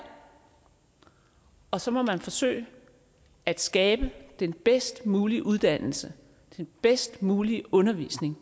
og så må man forsøge at skabe den bedst mulige uddannelse og den bedst mulige undervisning